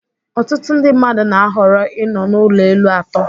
Ọtụtụ ndị mmadụ na-ahọrọ ịnọ n'ụlọ elu atọ